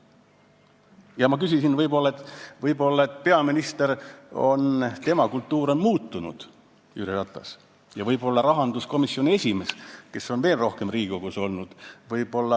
Ja ma küsisin, et võib-olla peaministri kultuur on muutunud, aga vahest teeb teerulli rahanduskomisjon.